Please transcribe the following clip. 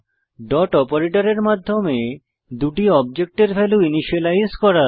dot অপারেটরের মাধ্যমে দুটি অবজেক্টের ভ্যালু ইনিসিয়েলাইজ করা